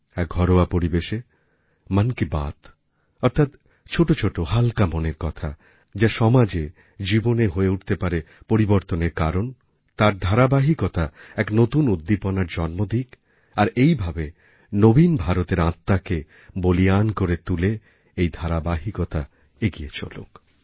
এক ঘরোয়া পরিবেশে মন কী বাত অর্থাৎ ছোটো ছোটো হালকা মনের কথা যা সমাজে জীবনে হয়ে উঠতে পারে পরিবর্তনের কারণ তার ধারাবাহিকতা এক নতুন উদ্দীপনার জন্ম দিক আর এইভাবে নবীন ভারতের আত্মাকে বলীয়ান করে তুলে এই ধারাবাহিকতা এগিয়ে চলুক